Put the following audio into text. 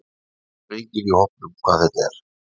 Það skilur enginn í hópnum hvað þetta er.